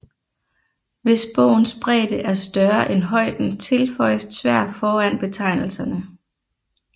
Hvis bogens bredde er større end højden tilføjes tvær foran betegnelserne